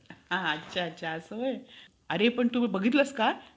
यांची माहिती जाणून घेतल्यावर तुम्हीही तुमच्या मुलाबाळांना त्याप्रमाणे संस्कार द्यावे